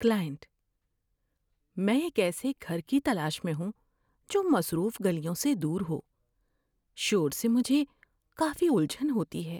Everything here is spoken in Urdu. کلائنٹ: "میں ایک ایسے گھر کی تلاش میں ہوں جو مصروف گلیوں سے دور ہو – شور سے مجھے کافی الجھن ہوتی ہے۔"